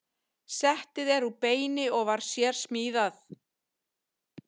Settið er úr beini og var sérsmíðað.